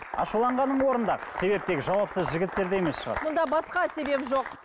ашуланғаның орынды себеп тек жауапсыз жігіттерде емес шығар мұнда басқа себеп жоқ